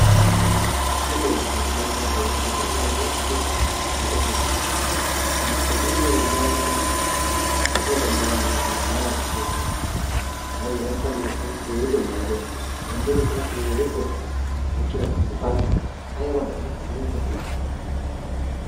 So medoosaa giddon tana keehippe lo"iyagee kuttiyo woykko kuttuwa. Phuuphulliya immoosona, ashuwa banttaagaa mizoosona, maraa dichchoosona ha"i wolaytta moottan keehippe maaduwa immoosona. Xelliyode tana keehippe lo"ees eqqida kuttiya barkka eqqaasu ayba lo"ay! keehippe lo"awusu.